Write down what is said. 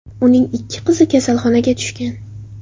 Uning ikki qizi kasalxonaga tushgan.